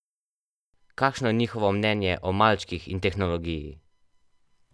Kakšno je njihovo mnenje o malčkih in tehnologiji?